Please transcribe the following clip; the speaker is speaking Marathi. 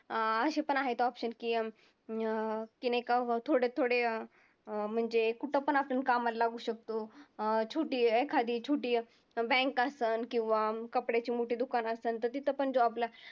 असेपण आहेत option की अं एका थोडे थोडे अं म्हणजे कुठंपण आपण कामाला लागू शकतो. अं छोटी एखादी छोटी bank असंन, किंवा कपड्याची मोठी दुकानं असंन तर तिथं पण job ला